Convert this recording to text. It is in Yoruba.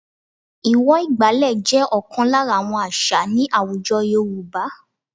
Ìwọ̀ ìgbàlẹ̀ jẹ́ ọ̀kan lára àwọn àṣà ní àwùjọ Yorùba h